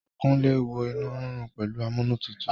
Kúnlé wo inú rírun pẹ̀lú amúnútutù